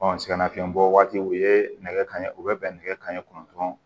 sɛgɛnnafiɲɛbɔ waatiw u ye nɛgɛ kanɲɛ u bɛ bɛn nɛgɛ kanɲɛ kɔnɔntɔn